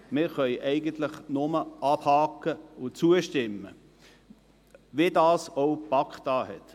Wir können es nur abhaken und ihm zustimmen, wie dies auch die BaK getan hat.